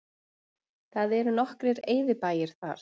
Það eru nokkrir eyðibæir þar